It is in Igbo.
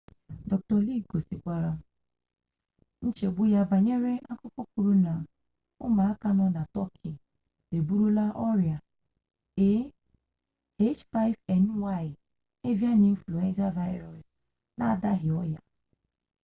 dr. lee gosikwara nchegbu ya banyere akụkọ kwuru na ụmụaka nọ na tọki eburula ọrịa ah5n1 evian influenza vaịrụs n'adaghị ọrịa